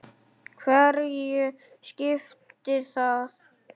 Hverju skiptir það?